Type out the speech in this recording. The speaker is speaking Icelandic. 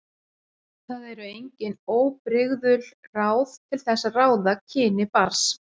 Það eru engin óbrigðul ráð til þess að ráða kyni barns.